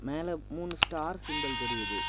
மேல மூணு star symbol தெரியுது.